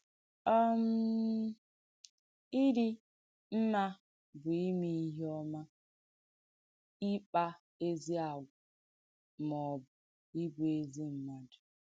um Ị̀dí mmà bù ìmè ìhé ọ̀mà, ìkpà èzì àgwà, mà ọ̀ bù ìbù èzì m̀mùàdù.